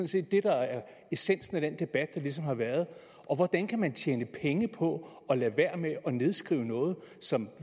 set det der er essensen af den debat der ligesom har været og hvordan kan man tjene penge på at lade være med at nedskrive noget som